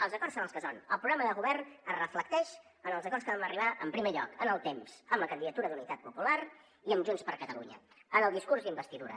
els acords són els que són el programa de govern es reflecteix en els acords que vam arribar en primer lloc en el temps amb la candidatura d’unitat popular i amb junts per catalunya en el discurs d’investidura